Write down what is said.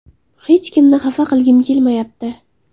Hech kimni xafa qilgim kelmayapti.